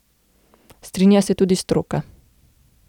Strinja se tudi stroka.